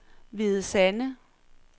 Hvide Sande